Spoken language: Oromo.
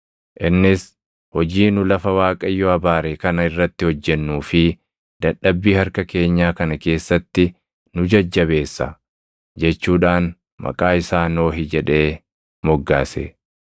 Innis, “Hojii nu lafa Waaqayyo abaare kana irratti hojjennuu fi dadhabbii harka keenyaa kana keessatti nu jajjabeessa” jechuudhaan maqaa isaa Nohi jedhee moggaase.